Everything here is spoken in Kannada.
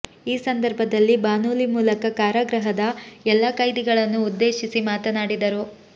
ಈ ಸಂದರ್ಭದಲ್ಲಿ ಬಾನೂಲಿ ಮೂಲಕ ಕಾರಾಗೃಹದ ಎಲ್ಲ ಕೈದಿಗಳನ್ನು ಉದ್ದೇಶಿಸಿ ಮಾತನಾಡಿದರು